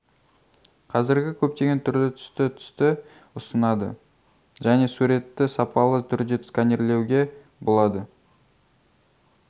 қазіргі көптеген түрлі-түсті түсті ұсынады және суретті сапалы түрде сканерлеуге болады